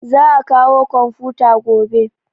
Za a kawo komfuta gobe